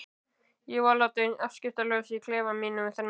Ég var látin afskiptalaus í klefa mínum þennan dag.